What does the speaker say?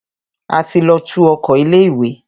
A ti lọ tú oko ilé ìwé.